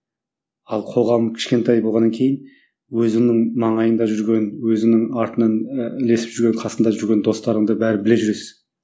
ал қоғам кішкентай болғаннан кейін өзінің маңайында жүрген өзінің артынан ы ілесіп жүрген қасыңда жүрген достарыңды бәрін біле жүресің